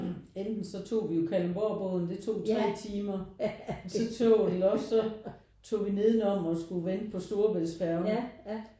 Enten så tog vi jo Kalundborgbåden det tog tre timer så tog vi nedenom og skulle vente på Storebæltsfærgen